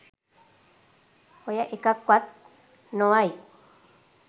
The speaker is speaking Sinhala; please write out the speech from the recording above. ඔය එකක් වත් නොවයි.